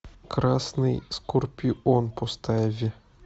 красный скорпион поставь